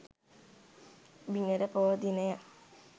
බිනර පොහෝ දිනය